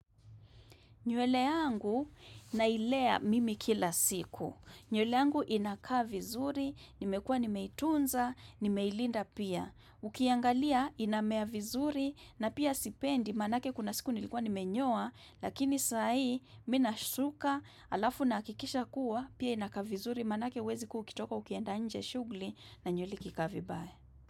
Nywele yangu na ilea mimi kila siku. Nywele yangu inakaa vizuri, nimekua nimetunza, nimeilinda pia. Ukiangalia inamea vizuri na pia sipendi manake kuna siku nilikua nimenyoa lakini saa hii minasuka alafu na akikisha kuwa pia inakaa vizuri manake wezi kukitoka ukienda nje shugli na nywele ikikaa vibaya.